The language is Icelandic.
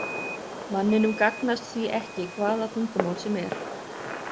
Manninum gagnast því ekki hvaða tungumál sem er.